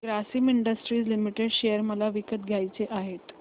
Grasim industries limited share मला विकत घ्यायचे आहेत